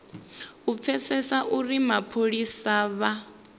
u pfesesa uri mapholisa vha